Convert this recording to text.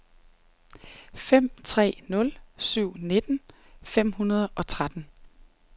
fem tre nul syv nitten fem hundrede og tretten